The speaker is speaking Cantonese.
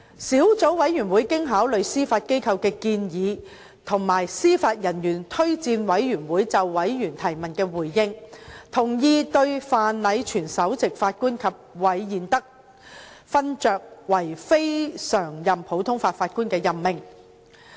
小組委員會經考慮司法機構的建議和司法人員推薦委員會就委員提問的回應，同意對范禮全首席法官及韋彥德勳爵為非常任普通法法官的任命。